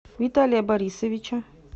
виталия борисовича